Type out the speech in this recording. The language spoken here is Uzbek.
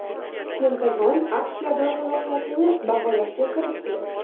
Pentagon AQSh yadro salohiyatini baholashga kirishdi.